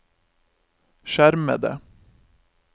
skjermede